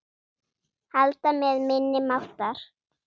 Halda með minni máttar.